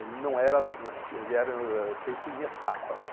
Ele não era ele era feito em etapas.